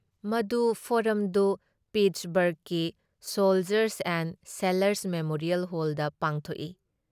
ꯃꯗꯨ ꯐꯣꯔꯝꯗꯨ ꯄꯤꯠꯁꯕꯔꯒꯀꯤ ꯁꯣꯜꯖꯔꯁ ꯑꯦꯟꯗ ꯁꯦꯂꯔꯁ ꯃꯦꯃꯣꯔꯤꯌꯦꯜ ꯍꯣꯜꯗ ꯄꯥꯡꯊꯣꯛꯏ ꯫